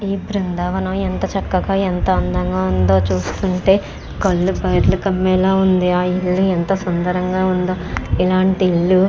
ఈ బృందావనం ఎంత చక్కగా ఎంత అందంగా ఉందో చూస్తుంటే కళ్ళు బయర్లు కమ్మేలా ఉంది. ఆ ఇల్లు ఇంత సుందరంగా ఉందో ఇలాంటి ఇల్లు --